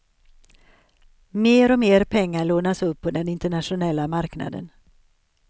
Mer och mer pengar lånas upp på den internationella marknaden.